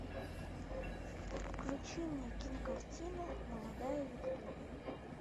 включи мне кинокартину молодая виктория